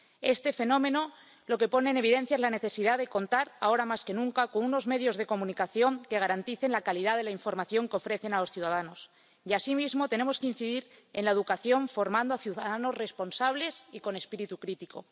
Este fenómeno lo que pone en evidencia es la necesidad de contar, ahora más que nunca, con unos medios de comunicación que garanticen la calidad de la información que ofrecen a los ciudadanos. Y, así mismo, tenemos que incidir en la educación, formando a ciudadanos responsables y con espíritu crítico.